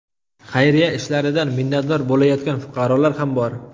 Xayriya ishlaridan minnatdor bo‘layotgan fuqarolar ham bor.